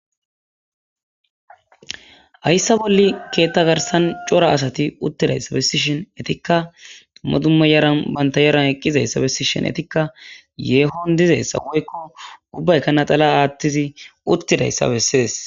Hayssa bolle keetta garsan cora asati uttidayssabessi shin etikka dumma dumma yaran banta yaran eqqizayssabesi shin etikka yeehon dizeyssa woykko ubbaykana xala aattizi uttidayssa bessees.